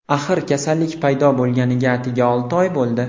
Axir kasallik paydo bo‘lganiga atigi olti oy bo‘ldi.